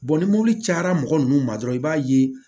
ni mɔbili cayara mɔgɔ nunnu ma dɔrɔn i b'a ye